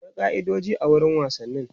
akwai kai'idoji a wurin wasanni